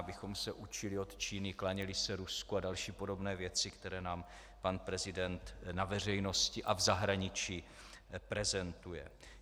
Abychom se učili od Číny, klaněli se Rusku a další podobné věci, které nám pan prezident na veřejnosti a v zahraničí prezentuje?